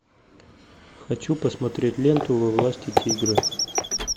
хочу посмотреть ленту во власти тигра